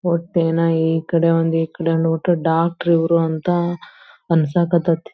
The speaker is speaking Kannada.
ಹೊಟ್ಟೆನ ಈ ಕಡೆ ಒಂದ್ ಈ ಕಡೆ ಒಂದ್ ಮುಟ್ಟರೆ ಡಾಕ್ಟರ್ ಇವ್ರು ಅಂತ ಅನ್ಸಾಕ್ ಹತೈತಿ.